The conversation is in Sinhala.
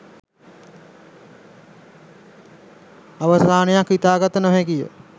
අවසානයක් හිතාගත නොහැකිය